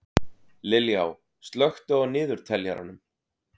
Liljá, slökktu á niðurteljaranum.